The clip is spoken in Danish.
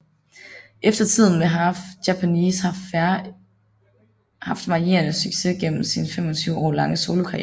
Efter tiden med Half Japanese har Fair haft varierende succes gennem sin 25 år lange solokarriere